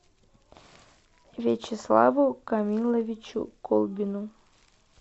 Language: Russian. вячеславу камиловичу колбину